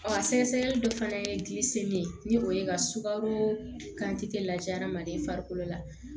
a sɛgɛsɛgɛli dɔ fana ye min ye ni o ye ka sukaro kante lajɛ hadamaden farikolo la